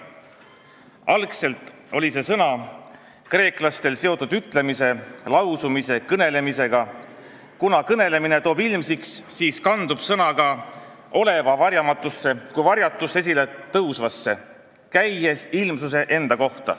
Algselt oli see sõna kreeklastel seotud ütlemise, lausumise, kõnelemisega, kuna kõnelemine toob ilmsiks, siis kandub sõna ka oleva varjamatusse kui varjatust esile tõusvasse, käies ilmsuse enda kohta.